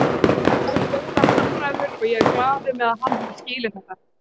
Við áttum góðar samræður og ég er glaður með að hann hafi skilið þetta.